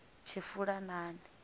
tshifulanani